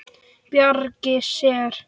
Bjargi sér.